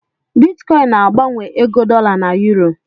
Bitkọịn na-agbanwe ego dọla na yuro.